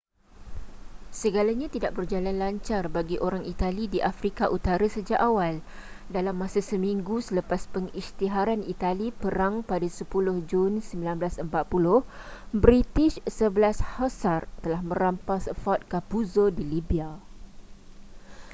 segalanya tidak berjalan lancar bagi orang itali di afrika utara sejak awal dalam masa seminggu selepas pengisytiharan itali perang pada 10 jun 1940 british 11 hussars telah merampas fort capuzzo di libya